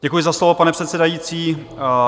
Děkuji za slovo, pane předsedající.